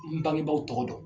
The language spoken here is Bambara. N bi bangebaaw tɔgɔ dɔn.